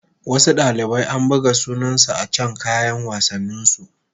Wasu dalibai an buga sunansu a can kayan wassanin su